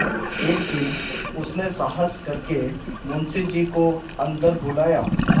एक दिन उसने साहस करके मुंशी जी को अन्दर बुलाया